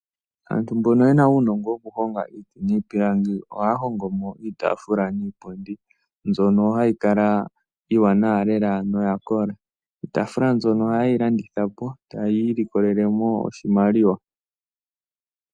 Aantu mbono yena uunogo woku honga iiti niipilangi oha hongo mo iitafula niipundi mbyono hayi kala iiwanawa lela noya kola. Iitafula mbyono ohaayi landitha po etayi imonene mo oshimaliwa.